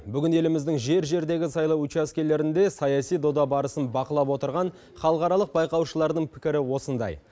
бүгін еліміздің жер жердегі сайлау учаскелерінде саяси дода барысын бақылап отырған халықаралық байқаушылардың пікірі осындай